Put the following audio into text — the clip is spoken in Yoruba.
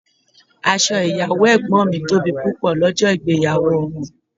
Aṣọ ìyàwó ẹ̀gbọ́n mi tóbi pupọ lọ́jọ́ ìgbéyàwó wọn.